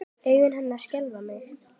Augu hennar skelfa mig.